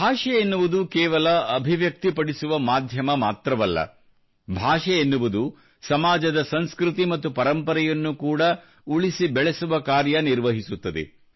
ಭಾಷೆ ಎನ್ನುವುದು ಕೇವಲ ಅಭಿವ್ಯಕ್ತಪಡಿಸುವ ಮಾಧ್ಯಮ ಮಾತ್ರವಲ್ಲ ಭಾಷೆ ಎನ್ನುವುದು ಸಮಾಜದ ಸಂಸ್ಕೃತಿ ಮತ್ತು ಪರಂಪರೆಯನ್ನು ಕೂಡಾ ಉಳಿಸಿ ಬೆಳೆಸುವ ಕಾರ್ಯ ನಿರ್ವಹಿಸುತ್ತದೆ